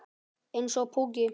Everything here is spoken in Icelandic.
Eins og púki.